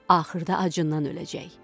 axırda acından öləcək.